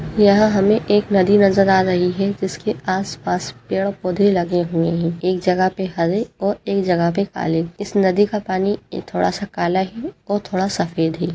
यहाँं हमें एक नदी नजर आ रही है जिसके आसपास पेड़ पौधे लगे हुए हैं। एक जगह पे हरे और एक जगह पे काले। इस नदी का पानी थोड़ा सा काला है और थोड़ा सफ़ेद है।